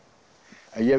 en ég